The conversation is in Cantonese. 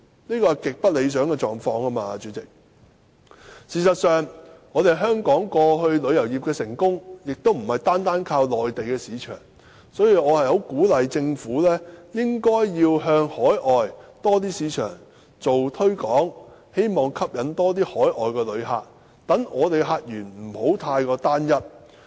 主席，這是極不理想的狀況。事實上，香港旅遊業以往的成功亦非單靠內地市場，所以我十分鼓勵政府向更多海外市場進行推廣，希望吸引更多海外旅客，令香港的客源不要過於單一。